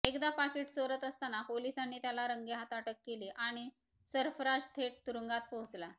एकदा पाकीट चोरत असताना पोलिसांनी त्याला रंगेहात अटक केली आणि सरफराज थेट तुरुंगात पोहोचला